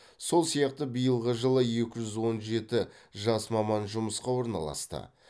сол сияқты биылғы жылы екі жүз он жеті жас маман жұмысқа орналасты